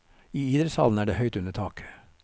I idrettshallen er det høyt under taket.